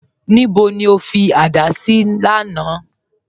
Níbó ni o tì fí gígẹ̀ gígẹ̀ lánà?